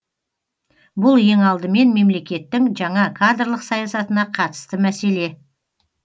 бұл ең алдымен мемлекеттің жаңа кадрлық саясатына қатысты мәселе